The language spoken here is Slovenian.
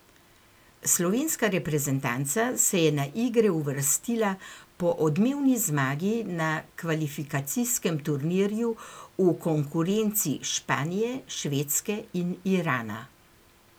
Slovenska reprezentanca se je na igre uvrstila po odmevni zmagi na kvalifikacijskem turnirju v konkurenci Španije, Švedske in Irana.